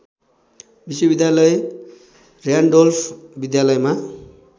विश्वविद्यालय र्‍यान्डोल्फ विद्यालयमा